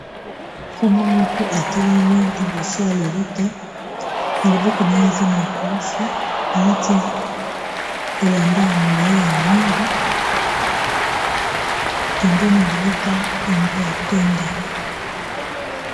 Sango moko atelemi liboso ya lelita na liboko na ye aza na ekulusu alati elamba ya molayi ya mwindu pembeni ya lelita yango ya pembe.